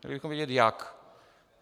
Chtěli bychom vědět jak.